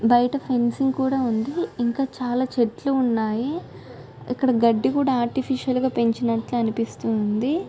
బయట ఫెన్సింగ్ కుడా ఉంది.ఇంకా చాలా చెట్లు ఉన్నాయి. ఇక్కడ గడ్డి కూడా ఆర్టిఫిషల్ గా పెంచినట్లు అనిపిస్తుంది.